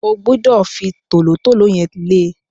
O gbúdọ̀ fi tòlótòló yẹn lẹ́ẹ̀!